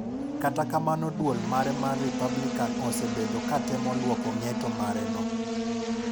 Kata kamano duol mare mar Republican osebedo katemo luoko ng'eto mareno.